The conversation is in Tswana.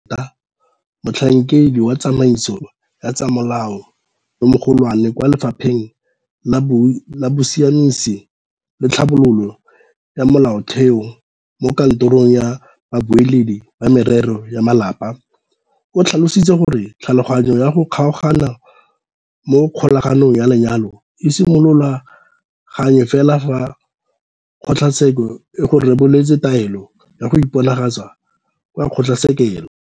Josephine Peta, Motlhankedi wa Tsamaiso ya tsa Molao yo Mogolwane kwa Lefapheng la Bosiamisi le Tlhabololo ya Molaotheo mo Katorong ya Babueledi ba Merero ya Malapa, o tlhalositse gore thulaganyo ya go kgaogana mo kgolaganong ya lenyalo e simolola gangwe fela fa kgotlatsekelo e go reboletse taelo ya go iponagatsa kwa kgotlatshekelo.